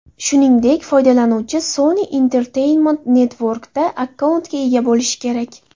Shuningdek, foydalanuvchi Sony Entertainment Network’da akkauntga ega bo‘lishi kerak.